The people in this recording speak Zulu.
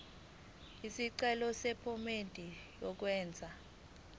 isicelo sephomedi yokwenze